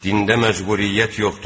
Dində məcburiyyət yoxdur.